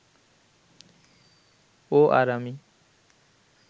ও আর আমি